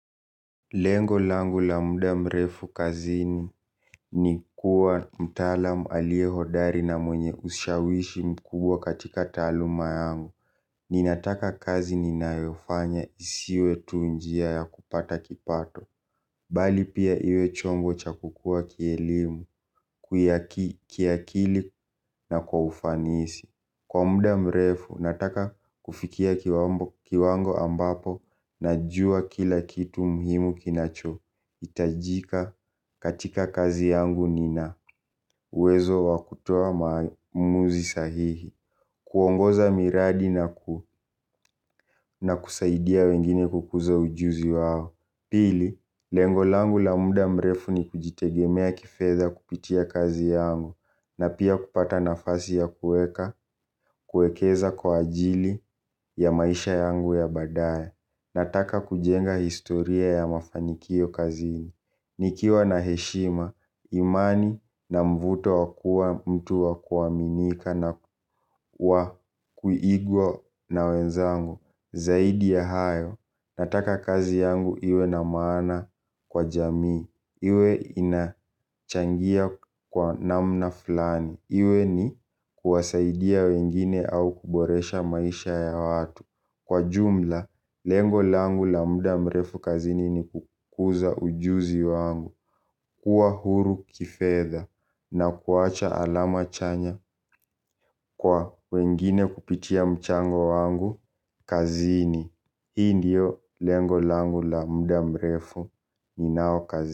Lengo langu la muda mrefu kazini ni kuwa mtaalamu alie hodari na mwenye ushawishi mkubwa katika taaluma yangu. Ninataka kazi ninayofanya isiwe tu njia ya kupata kipato. Bali pia iwe chombo cha kukua kielimu, kiakili na kwa ufanisi. Kwa muda mrefu, nataka kufikia kiwango ambapo najua kila kitu muhimu kinacho. Hitajika katika kazi yangu, nina uwezo wa kutoa maamuzi sahihi. Kuongoza miradi na kusaidia wengine kukuza ujuzi wao pili, lengo langu la muda mrefu ni kujitegemea kifedha kupitia kazi yangu na pia kupata nafasi ya kuweka, kuekeza kwa ajili ya maisha yangu ya badaye. Nataka kujenga historia ya mafanikio kazini. Nikiwa na heshima, imani na mvuto wa kuwa mtu wa kuaminika na kuigwa na wenzangu zaidi ya hayo nataka kazi yangu iwe na maana kwa jamii iwe inachangia kwa namna fulani, iwe ni kuwasaidia wengine au kuboresha maisha ya watu, kwa ujumla lengo langu la muda mrefu kazini ni kukuza ujuzi wangu kuwa huru kifedha na kuacha alama chanya kwa wengine kupitia mchango wangu kazini. Hii ndiyo lengo langu la muda mrefu ninao kazini.